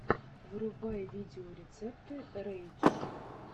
врубай видеорецепты рэй дж